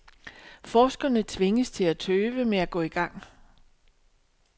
Forskerne tvinges til at tøve med at gå i gang.